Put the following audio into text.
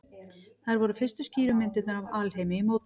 Þær voru fyrstu skýru myndirnar af alheimi í mótun.